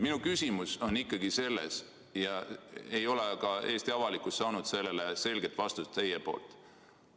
Minu küsimus on ikkagi see, millele ei ole ka Eesti avalikkus teilt selget vastust saanud.